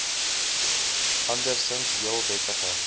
andersinds heel wettige